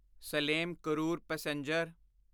Salem Karur passenger